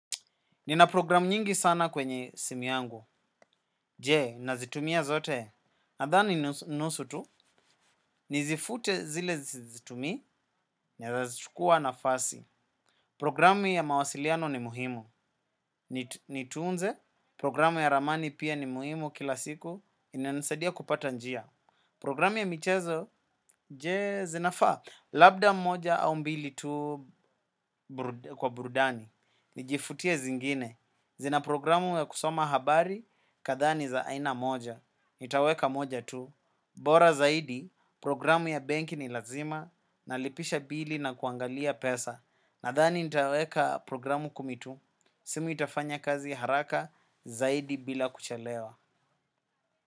Nina programu nyingi sana kwenye simu yangu. Jee, nazitumia zote. Nadhani nusu tu, nizifute zile sizitumii, nazazitukua na fasi. Programu ya mawasiliano ni muhimu. Nituunze, programu ya ramani pia ni muhimu kila siku. Inanasadia kupata njia. Programu ya michezo, jee, zinafaa. Labda moja au mbili tuu kwa burudani. Nijifutie zingine. Zinaprogramu ya kusoma habari kadhani za aina moja. Nitaweka moja tu. Bora zaidi programu ya benki ni lazima. Nalipisha bili na kuangalia pesa. Nadhani nitaweka programu kumi tu. Simu itafanya kazi haraka zaidi bila kuchelewa.